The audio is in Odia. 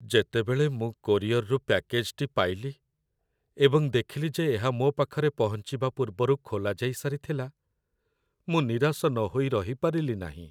ଯେତେବେଳେ ମୁଁ କୋରିଅର୍‌ରୁ ପ୍ୟାକେଜ୍ଟି ପାଇଲି ଏବଂ ଦେଖିଲି ଯେ ଏହା ମୋ ପାଖରେ ପହଞ୍ଚିବା ପୂର୍ବରୁ ଖୋଲାଯାଇ ସାରିଥିଲା, ମୁଁ ନିରାଶ ନହୋଇ ରହିପାରିଲି ନାହିଁ।